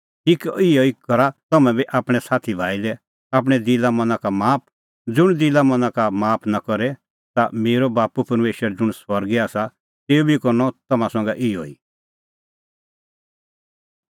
ठीक इहअ ई करा तम्हैं बी आपणैं साथी भाई लै आपणैं दिला मना का पाप माफ ज़ुंण दिला मना का माफ नां करे ता मेरअ बाप्पू परमेशर ज़ुंण स्वर्गै आसा तेऊ बी करनअ तम्हां संघै इहअ ई